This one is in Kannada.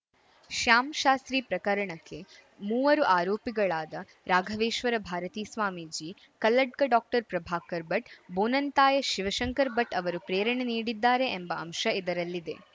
ಶ್ಯಾಮ್‌ ಶಾಸ್ತ್ರಿ ಪ್ರಕರಣಕ್ಕೆ ಮೂವರು ಆರೋಪಿಗಳಾದ ರಾಘವೇಶ್ವರ ಭಾರತೀ ಸ್ವಾಮೀಜಿ ಕಲ್ಲಡ್ಕ ಡಾಕ್ಟರ್ ಪ್ರಭಾಕರ ಭಟ್‌ ಬೋನಂತಾಯ ಶಿವಶಂಕರ ಭಟ್‌ ಅವರು ಪ್ರೇರಣೆ ನೀಡಿದ್ದಾರೆ ಎಂಬ ಅಂಶ ಇದರಲ್ಲಿದೆ